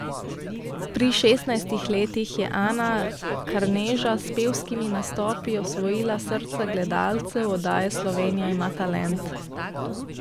Pri šestnajstih letih je Ana Karneža s pevskimi nastopi osvojila srca gledalcev oddaje Slovenija ima talent.